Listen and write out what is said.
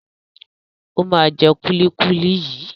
Ó máa jẹ kúlíkúlí yìí.